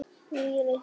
Níu lyklar.